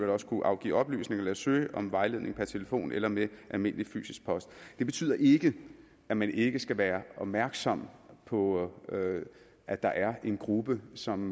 også kunne afgive oplysninger eller søge om vejledning per telefon eller ved almindelig fysisk post det betyder ikke at man ikke skal være opmærksom på at der er en gruppe som